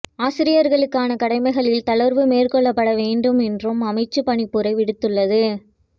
ஆசிரியர்களுக்கான கடமைகளில் தளர்வுகள் மேற்கொள்ளப்பட வேண்டும் என்றும் அமைச்சு பணிப்புரை விடுத்துள்ளது